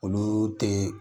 Olu tee